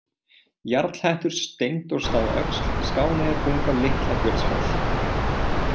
Jarlhettur, Steindórsstaðaöxl, Skáneyjarbunga, Litla-Björnsfell